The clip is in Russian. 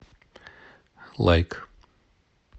лайк